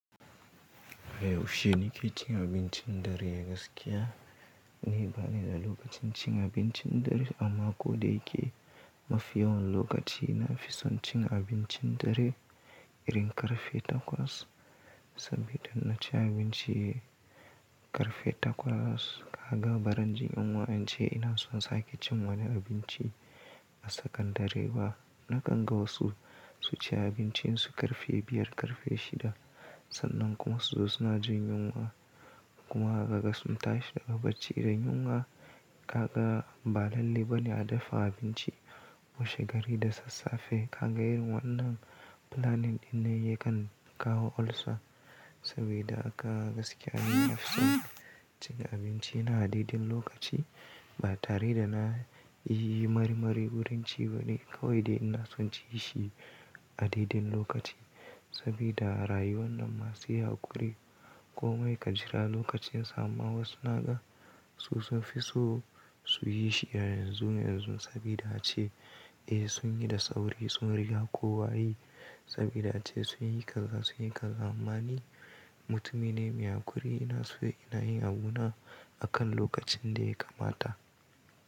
Yaushe ni ke cin abincin dare gaskiya. Ni bani da lokacin cin abincin dare amma kodayake, mafi yawan lokaci ina fi son cin abincin dare irin karfe takwas. Saboda in na ci abinci karfe takwas, kaga barin jin yunwa, in ce ina son sake cin wani abinci a tsakandare ba. Nakan ga wasu su ci abincin su ƙarfe biyar, ƙarfe shida, sannan kuma su zo suna jin yunwa. Kuma kaga suntashi daga bacci da yunwa, kaga ba lalle bane a dafa abinci washe gari da sassafe. Kaga irin wannan planning ɗin ne yakan kawo olsa. Saboda haka gaskiya, ina fi son cin abinci na a daidai lokaci ba tare da na yi marimari wurin ci ba ne. Kawai dai ina son ci shi a daidai lokaci saboda a rayuwan nan ma sai haƙuri, komai ka jira lokacin sa amma wasu na ga su sun fi so su yi shi yanzu yanzu saboda ace eh sun yi da tsauri, sun riƙa kowa yi. Saboda ace sun yi kaza, sun yi kaza. Amma ni mutumine mai hakuri, ina so ina yin abuna a kan lokacin da ya kamata.